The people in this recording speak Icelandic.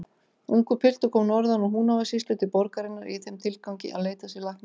Ungur piltur kom norðan úr Húnavatnssýslu til borgarinnar í þeim tilgangi að leita sér lækninga.